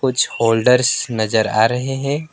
कुछ होल्डर्स नजर आ रहे हैं।